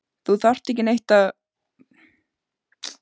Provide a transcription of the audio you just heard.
Þú þarft ekki að útskýra neitt.